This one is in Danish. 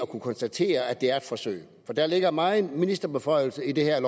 kunne konstatere at det er et forsøg for der ligger megen ministerbeføjelse i det her